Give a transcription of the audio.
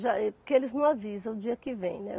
Já é, que eles não avisam o dia que vem, né.